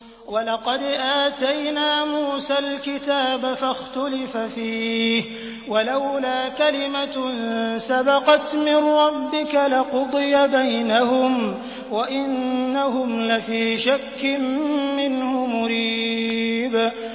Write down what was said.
وَلَقَدْ آتَيْنَا مُوسَى الْكِتَابَ فَاخْتُلِفَ فِيهِ ۚ وَلَوْلَا كَلِمَةٌ سَبَقَتْ مِن رَّبِّكَ لَقُضِيَ بَيْنَهُمْ ۚ وَإِنَّهُمْ لَفِي شَكٍّ مِّنْهُ مُرِيبٍ